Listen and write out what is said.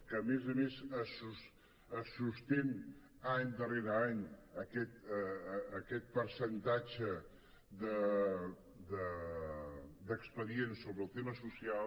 que a més a més es sostén any darrere any aquest percentatge d’expedients sobre el tema social